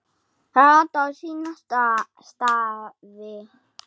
Það ratar á sína staði.